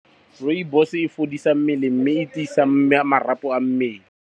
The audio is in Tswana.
Rooibos-e e fodisa mmele mme e tiisa marapo a mmele.